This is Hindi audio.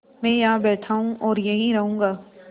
मैं यहाँ बैठा हूँ और यहीं रहूँगा